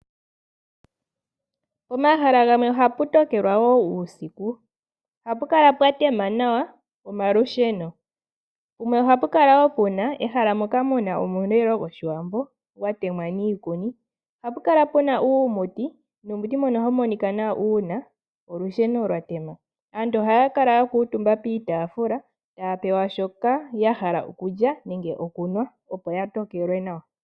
Pomahala gamwe ohapu tokelwa wo uusiku, ohapu kala pwatema nawa omalusheno. Pumwe ohapukala wo puna ehala moka muna omulilo gOshiwambo gwatemwa niikuni. Ohapukala puna uumuti, nuumuti mbono ohawu monika nawa uuna olusheno lwatema. Aantu ohaya kala yakuutumba piitaafula taya pewa shoka yahala okulya nenge okunwa opo yatokelwe nawa.